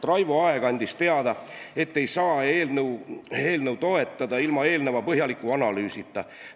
Raivo Aeg andis teada, et ei saa eelnõu toetada ilma eelneva põhjaliku analüüsida.